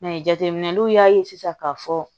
jateminɛw y'a ye sisan k'a fɔ